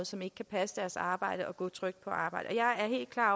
som ikke kan passe deres arbejde og gå trygt på arbejde